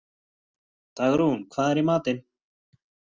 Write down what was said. Dagrún, hvað er í matinn?